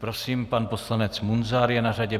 Prosím, pan poslanec Munzar je na řadě.